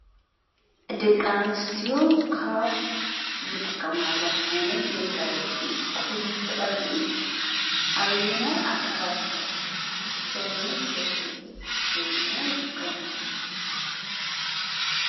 ደቂ ኣንስትዮ ካብ ዝጥቀማሎሞ ዓይነት መጋየፂ ኩሕሊ እቱይ ቀንዲ እዩ። ኣበየናይ ኣካላት ሰውነት የገልግል ወይ ድማ ይጥቀማሉ?